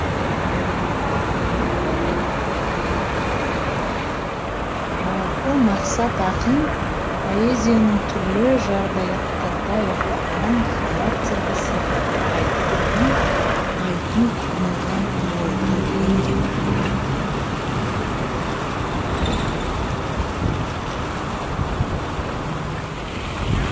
жалпы мақсат ақын поэзияның түрлі жағдаяттарда аяқталған характерді сипаттайтындығын айқын ұғынған ойлы лирик